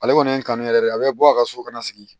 Ale kɔni ye kanu yɛrɛ de ye a bɛ bɔ a ka so ka na sigi